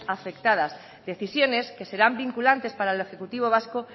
afectadas decisiones que serán vinculantes para el ejecutivo vasco